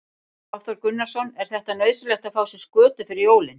Hafþór Gunnarsson: Er þetta nauðsynlegt að fá sér skötu fyrir jólin?